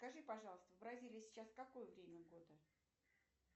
скажи пожалуйста в бразилии сейчас какое время года